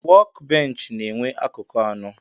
Wọk bench na enwee akụkụ anọ.